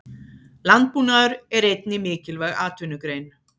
Landbúnaður er einnig mikilvæg atvinnugrein.